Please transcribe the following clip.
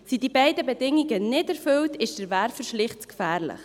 Sind die beiden Bedingungen nicht erfüllt, ist der Werfer schlicht zu gefährlich.